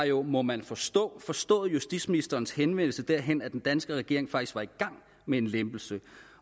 jo må man forstå forstået justitsministerens henvendelse derhen at den danske regering faktisk var i gang med en lempelse